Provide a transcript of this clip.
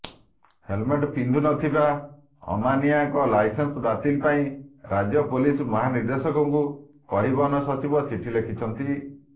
helmet ପିନ୍ଧୁନଥିବା ଅମାନିଆଙ୍କ licence ବାତିଲ ପାଇଁ ରାଜ୍ୟ ପୁଲିସ ମହାନିର୍ଦ୍ଦେଶକଙ୍କୁ ପରିବହନ ସଚିବ ଚିଠି ଲେଖିଛନ୍ତି